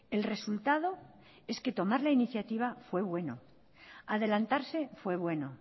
el resultado es que tomar la iniciativa fue bueno adelantarse fue bueno